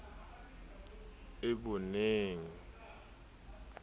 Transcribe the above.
ke sa eboneng ke kgathetse